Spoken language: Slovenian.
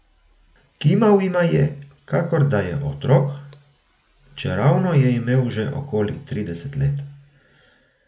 Kimal jima je, kakor da je otrok, čeravno je imel že okoli trideset let.